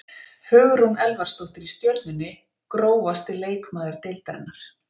Hugrún Elvarsdóttir í Stjörnunni Grófasti leikmaður deildarinnar?